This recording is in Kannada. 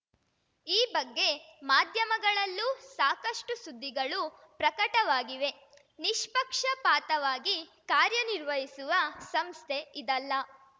ಈ ಬಗ್ಗೆ ಮಾಧ್ಯಮಗಳಲ್ಲೂ ಸಾಕಷ್ಟುಸುದ್ದಿಗಳು ಪ್ರಕಟವಾಗಿವೆ ನಿಷ್ಪಕ್ಷಪಾತವಾಗಿ ಕಾರ್ಯನಿರ್ವಹಿಸುವ ಸಂಸ್ಥೆ ಇದಲ್ಲ